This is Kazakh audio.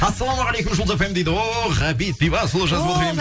ассалаумағалейкум жұлдыз фм дейді ооо ғабит бейбасұлы жазып отыр